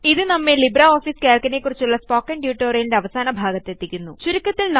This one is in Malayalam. ഇത് നമ്മെ LibreOfficeCalcനെക്കുറിച്ചുള്ള കുറിച്ചുള്ള സ്പോക്കണ് ട്യൂട്ടോറിയലിന്റെ അവസാന ഭാഗത്തെത്തിക്കുന്നു